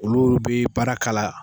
Olu bɛ baara k'a la